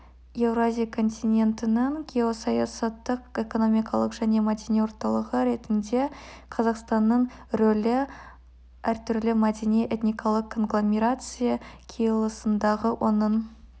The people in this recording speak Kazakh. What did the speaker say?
еуразия континентінің геосаясаттық экономикалық және мәдени орталығы ретінде қазақстанның рөлі әртүрлі мәдени-этникалық конгломерация қиылысындағы оның